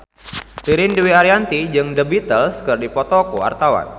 Ririn Dwi Ariyanti jeung The Beatles keur dipoto ku wartawan